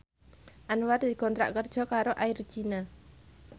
Anwar dikontrak kerja karo Air China